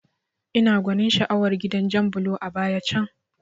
Ina gwanin sha'awar gidan jan bulo a baya can